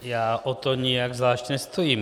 Já o to nijak zvlášť nestojím.